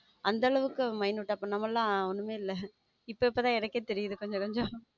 அந்த அளவுக்கு அவன் மைனூட்டா பண்றா ஒன்னும் நம்ம எல்லாம் ஒண்ணுமே இல்ல இப்பதான் எனக்கே தெரியுது கொஞ்சம் கொஞ்சம்.